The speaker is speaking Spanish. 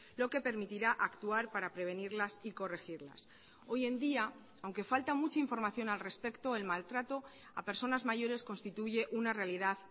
lo que permitirá actuar para prevenirlas y corregirlas hoy en día aunque falta mucha información al respecto el maltrato a personas mayores constituye una realidad